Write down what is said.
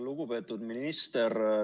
Lugupeetud minister!